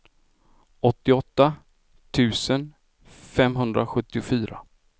åttioåtta tusen femhundrasjuttiofyra